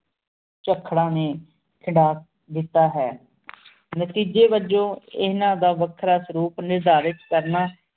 ਚਖ ਰਨ ਨੀ ਖੰਡਾ ਦੇਤਾ ਹੈਂ ਨਾਤੇਜ੍ਯ ਵਾਜੁਨ ਏਨਾ ਦਾ ਵਖਰਾ ਸਲੋਕ ਨਿਦਾਰਕ ਕਰਨਾ